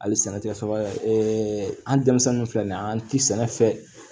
Hali sɛnɛ tɛ faga an denmisɛnnin filɛ nin ye an ti sɛnɛ fɛn